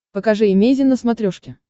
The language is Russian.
покажи эмейзин на смотрешке